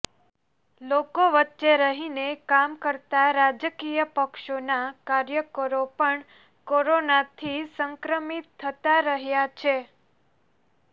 લોકો વચ્ચે રહીને કામ કરતાં રાજકીય પક્ષોના કાર્યકરો પણ કોરોનાથી સંક્રમિત થતાં રહ્યા છે